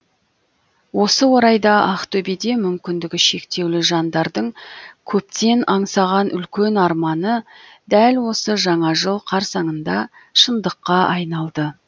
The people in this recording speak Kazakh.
осы орайда ақтөбеде мүмкіндігі шектеулі жандардың көптен аңсаған үлкен арманы дәл осы жаңа жыл қарсаңында шындыққа айналды